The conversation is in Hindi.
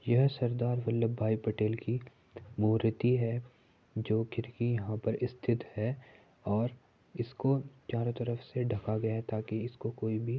यह सरदार वल्लभभाई पटेल की मूर्ति है जो यहां पर स्थित है और इसको चारों तरफ से ढका गया है ताकि इसको कोई भी --